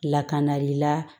Lakanali la